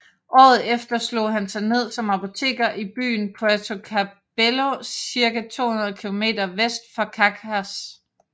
Året efter slog han sig ned som apoteker i byen Puerto Cabello circa 200 km vest for Caracas